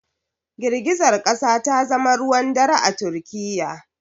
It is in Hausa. Girgizar kasa ta zama ruwan dare a Turkiyya